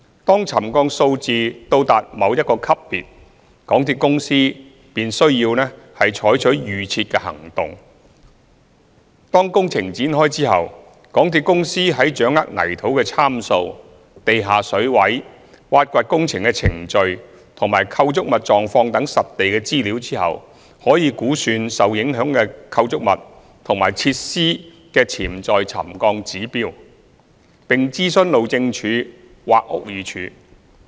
當沉降數字到達某一個級別，港鐵公司便需採取預設的行動。當工程展開後，港鐵公司在掌握泥土參數、地下水位、挖掘工程的程序及構築物狀況等實地資料後，可估算受影響的構築物及設施的潛在沉降指標，並諮詢路政署或屋宇署。